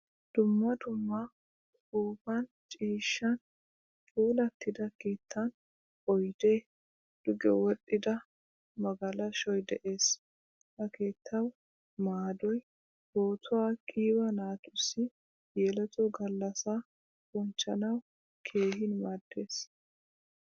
Dumma dumma uppuppan ciishshan puulatida keettan oyde, duge wodhdhida magalashshoy de'ees. Ha keettawu maadoy pootuwaa qiiba naatussi yeletto gallassa bonchchanawu keehin maaddees.